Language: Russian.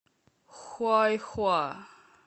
хуайхуа